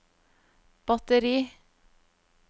batteri